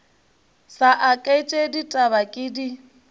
sa aketše ditaba ke di